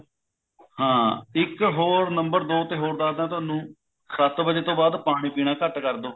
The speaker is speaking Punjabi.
ਹਾਂ ਇੱਕ ਹੋਰ number ਦੋ ਤੇ ਹੋਰ ਦੱਸਦਾ ਤੁਹਾਨੂੰ ਸੱਤ ਵਜੇ ਤੋਂ ਬਾਅਦ ਪਾਣੀ ਪੀਣਾ ਘੱਟ ਕਰਦੋ